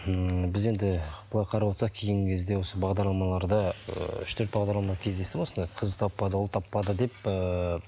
ммм біз енді былай қарап отырсақ кейінгі кезде осы бағдарламаларды ііі үш төрт бағдарламаны кездестім осындай қыз таппады ұл таппады деп ыыы